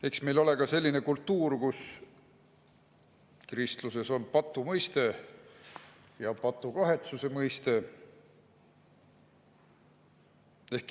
Eks meil ole ka selline kultuur, kus kristluses on patu mõiste ja patukahetsuse mõiste.